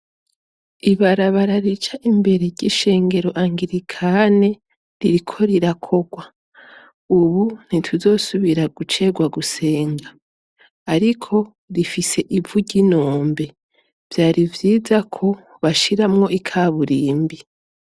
Ibarabara rica imbere ry'ishengero angirikane ririko rirakogwa, ubu ntituzosubira gucegwa gusenga, ariko rifise ivu ry'inombe, vyari vyiza ko bashiramwo ikaburimbi.